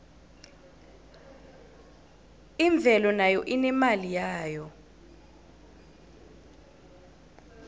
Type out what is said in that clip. imvelo nayo inemali yayo